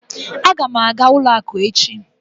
Aga m aga ụlọ akụ echi.